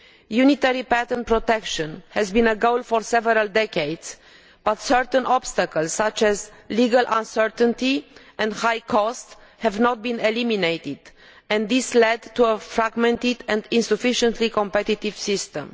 Unitary patent protection has been a goal for several decades, but certain obstacles such as legal uncertainty and high costs have not been eliminated, and this has led to a fragmented and insufficiently competitive system.